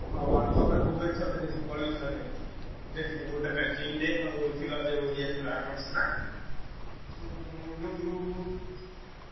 ହଁ World Cup ରେ ଭୁବନେଶ୍ବର ଯାଇଥିଲି କଳିଙ୍ଗ stadium ଦେଖିଲି ଗୋଟେ match, India ଆଉ ଯୋଉ ୟେ ଥିଲା କଣ ସେଟା, ଆଁ ଯୋଉ group ।